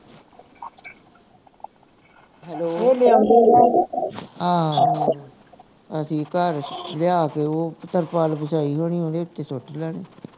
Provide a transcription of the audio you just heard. ਹਾਂ ਅਸੀਂ ਘੱਰ ਲਿਆ ਕੇ ਉਹ ਤਿਰਪਾਲ ਵਛਾਈ ਹੋਣੀ ਓਹਦੇ ਉੱਤੇ ਸੁੱਟ ਲੈਣੀ